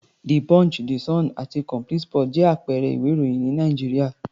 The Punch, The Sun àti Complete sports jẹ́ àpẹẹrẹ ìwé-ìròyìn ní Nàìjíríà.